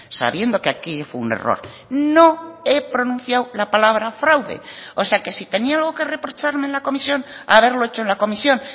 sabiendo que aquí fue un error no he pronunciado la palabra fraude o sea que si tenía algo que reprocharme en la comisión haberlo hecho en la comisión